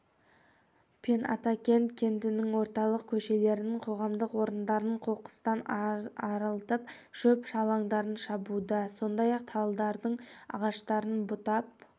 пен атакент кентінің орталық көшелерін қоғамдық орындарын қоқыстан арылтып шөп-шалаңдарын шабуда сондай-ақ талдардың ағаштарын бұтап